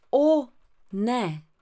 O, ne!